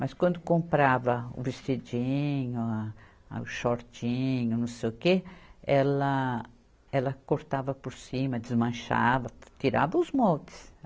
Mas quando comprava o vestidinho, ah, o shortinho, não sei o quê, ela cortava por cima, desmanchava, tirava os moldes.